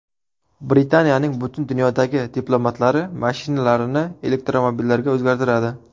Britaniyaning butun dunyodagi diplomatlari mashinalarini elektromobillarga o‘zgartiradi.